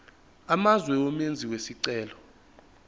amazwe umenzi wesicelo